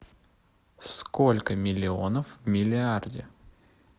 сколько миллионов в миллиарде